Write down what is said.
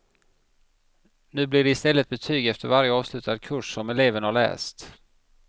Nu blir det i stället betyg efter varje avslutad kurs som eleven har läst.